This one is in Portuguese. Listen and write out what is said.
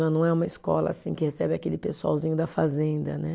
Já não é uma escola assim que recebe aquele pessoalzinho da fazenda né.